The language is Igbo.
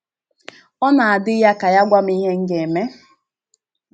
Ọ na - adị ya ka ya gwa m ihe m ga - eme. ”